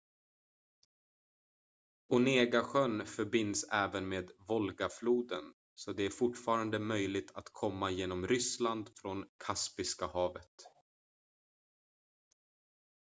onegasjön förbinds även med volgafloden så det är fortfarande möjligt att komma genom ryssland från kaspiska havet